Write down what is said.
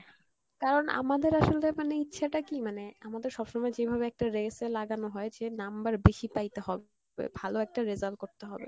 কারন আমাদের আসলে মানে ইচ্ছে টা কী মানে, আমাদের সবসময় যেভাবে একটা race এ লাগানো হয় যে number বেশি পাইতে হবে ভালো একটা result করতে হবে